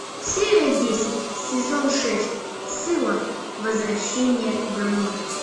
серия десять сезон шесть сыла возвращение домой